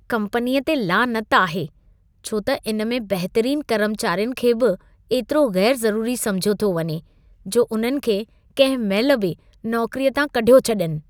कम्पनीअ ते लानत आहे छो त इन में बहितरीन कर्मचारियुनि खे बि एतिरो ग़ैर-ज़रूरी समिझियो थो वञे, जो उन्हनि खे कंहिं महिल बि नौकरीअ तां कढियो छॾनि।